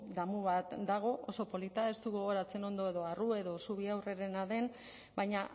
damu bat dago oso polita ez dut gogoratzen ondo edo arrue edo zubiaurrerena den baina